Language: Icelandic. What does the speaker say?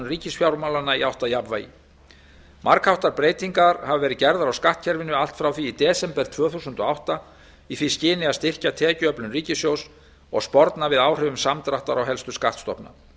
ríkisfjármálanna í átt að jafnvægi margháttaðar breytingar hafa verið gerðar á skattkerfinu allt frá því í desember tvö þúsund og átta í því skyni að styrkja tekjuöflun ríkissjóðs og sporna við áhrifum samdráttar á helstu skattstofna